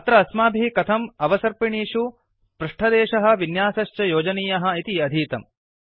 अत्र अस्माभिः कथम् अवसर्पिणीषु पृष्ठदेशः विन्यासश्च योजनीयः इति अधीतम्